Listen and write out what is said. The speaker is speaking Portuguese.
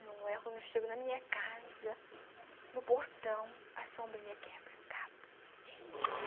Não é quando eu chego na minha casa, no portão, a sombrinha quebra, cabo. Rim....